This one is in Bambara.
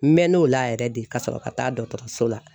N mɛɛnn'o la yɛrɛ de, ka sɔrɔ ka taa dɔgɔtɔrɔso la .